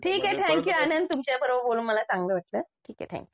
ठीक आहे थँक्यू आनंद तुमच्याबरोबर बोलून मला चांगलं वाटलं ठीक आहें. थँक्यू.